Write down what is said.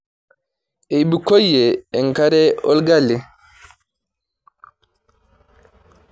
Eibukoyie enkare orgali.